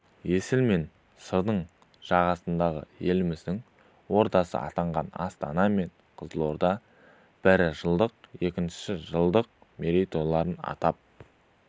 есіл мен сырдың жағасындағы еліміздің ордасы атанған астана мен қызылорда бірі жылдық екіншісі жылдық мерейтойларын атап